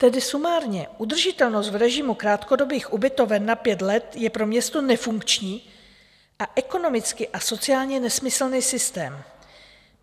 Tedy sumárně: Udržitelnost v režimu krátkodobých ubytoven na pět let je pro město nefunkční a ekonomicky a sociálně nesmyslný systém.